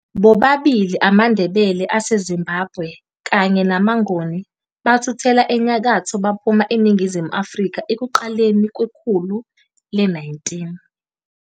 Bobabili amaNdebele aseZimbabwe kanye namaNgoni bathuthela enyakatho baphuma eNingizimu Afrika ekuqaleni kwekhulu le-19.